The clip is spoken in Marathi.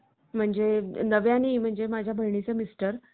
धडपडणाऱ्या मायक्रोसॉफ्ट आणि गुगल या दोन्ही companies चे सध्याचे प्रमुख सत्या नडेला आणि सुंदर